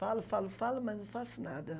Falo, falo, falo, mas não faço nada.